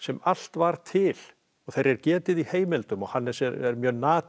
allt var til og þeirra er getið í heimildum og Hannes er mjög